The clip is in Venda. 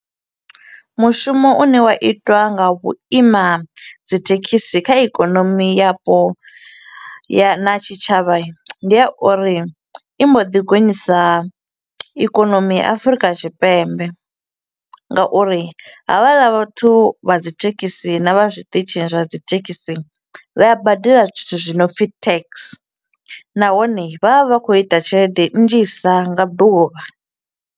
Mushumo u ne wa itwa nga vhuima dzithekhisi kha ikonomi yapo ya na tshitshavha i, ndi ya uri i mbo ḓi gonyisa ikonomi ya Afurika Tshipembe nga uri havhaḽa vhathu vha dzi thekhisi na vha zwiṱitshi zwa dzi thekhisi vha a badela zwithu zwinopfi tax, nahone vha vha vha kho u ita tshelede nnzhisa nga ḓuvha.